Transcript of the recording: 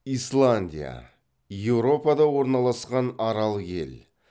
исландия еуропада орналасқан арал ел